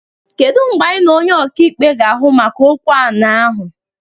Kedụ mgbe anyị na onye ọkaikpe ga-ahụ maka okwu ani ahụ?